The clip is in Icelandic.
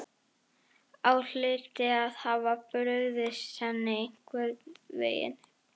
Ég hlyti að hafa brugðist henni einhvern veginn.